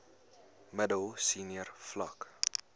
middel senior vlak